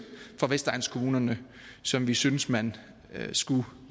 fra vestegnskommunerne som vi synes man skulle